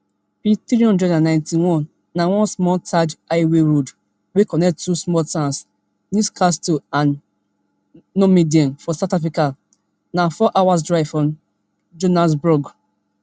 pthree hundred and ninety-one na one small tarred highway road wey connect two small towns newcastle and normandein for south africa na four hours drive from johannesburg